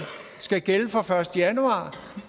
skal gælde fra første januar